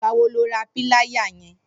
Nigbà wò ló rà pìláyá yèn?